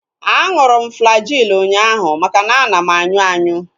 Aṅụrụ m Flagyl ụnyaahụ makana ana m anyụ anyụ